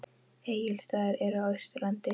Egilsstaðir eru á Austurlandi.